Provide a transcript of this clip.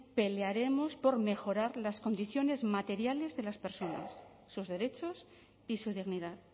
pelearemos por mejorar las condiciones materiales de las personas sus derechos y su dignidad